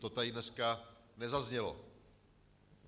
To tady dneska nezaznělo.